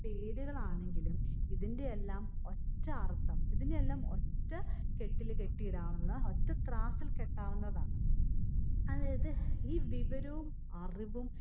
പേരുകളാണെങ്കിലും ഇതിന്റെ എല്ലാം ഒറ്റയർത്ഥം. ഇതിനെ എല്ലാം ഒറ്റ കെട്ടില് കെട്ടിയിടാവുന്ന ഒറ്റ ത്രാസിൽ കെട്ടാവുന്നതാണ്. അതായത് ഈ വിവരോം അറിവും